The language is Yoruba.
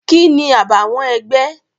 Kini àbàwọ́n ẹgbẹ́?